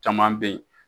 Caman bɛ yen